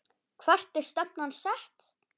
Hvert er stefnan sett?